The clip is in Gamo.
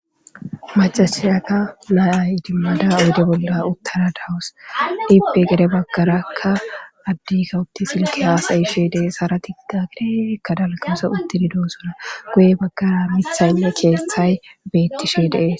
Macasayaka nayay idimmada odde bolla uttara dawus ipe gede baggarakka addikawutti silki haasayishe dee haratigga gede kadalkase uttidi doo sona goye baggara mithaynne keesthay beettishi dees.